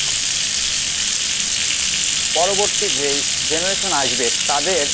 পরবর্তী যেই generation আসবে তাদের,